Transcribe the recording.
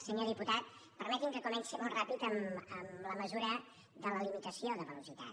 senyor diputat permeti’m que comenci molt ràpidament amb la mesura de la limitació de velocitat